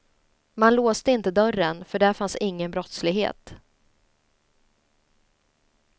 Man låste inte dörren, för där fanns ingen brottslighet.